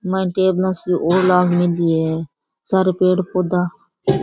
माइन टेबला सी और लाग मेली है सारा पेड़ पोधा --